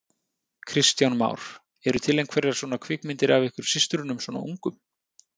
Kristján Már: Eru til einhverjar svona kvikmyndir af ykkur systrunum svona ungum?